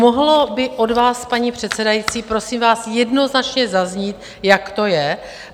Mohlo by od vás, paní předsedající, prosím vás, jednoznačně zaznít, jak to je?